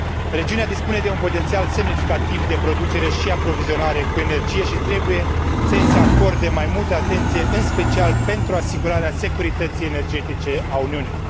Regiunea dispune de un potențial semnificativ de producere și aprovizionare cu energie și trebuie să i se acorde mai multă atenție, în special pentru asigurarea securității energetice a Uniunii.